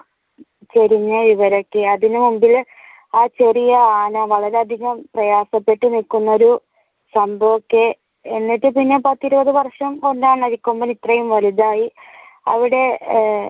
ചരിഞ്ഞ വിവരം ഒക്കെ അതിനു മുൻപിൽ ആ ചെറിയ ആന വളരെയധികം പ്രയാസപ്പെട്ടു നിക്കുന്ന ഒരു സംഭവം ഒക്കെ എന്നിട്ടു ഇതിനെ പത്തു ഇരുപതു വർഷം അരിക്കൊമ്പൻ ഇത്രയും വലുതായി അവിടെ ആഹ്